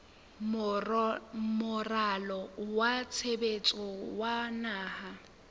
moralo wa tshebetso wa naha